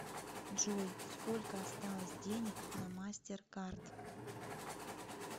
джой сколько осталось денег на мастеркард